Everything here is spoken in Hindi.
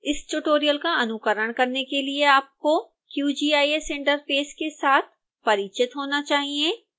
इस ट्यूटोरियल का अनुकरण करने के लिए आपको qgis इंटरफेस के साथ परिचित होना चाहिए